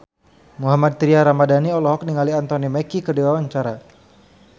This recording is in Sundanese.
Mohammad Tria Ramadhani olohok ningali Anthony Mackie keur diwawancara